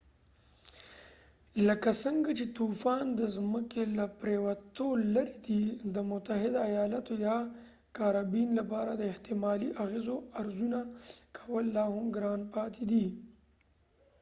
لکه څنګه چې طوفان د ځمکې له پريوتو لرې دی د متحده ایالاتو یا کارابین لپاره د احتمالي اغیزو ارزونه کول لاهم ګران پاتې دي